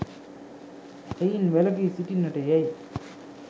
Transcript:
එයින් වැළකී සිටින්නට යැයි